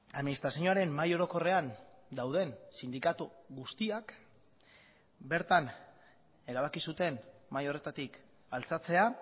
administrazioaren mahai orokorrean dauden sindikatu guztiak bertan erabaki zuten mahai horretatik altxatzea